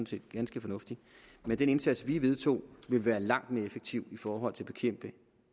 set ganske fornuftig men den indsats vi vedtog vil være langt mere effektiv i forhold til at bekæmpe